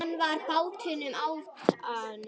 Hann var á báðum áttum.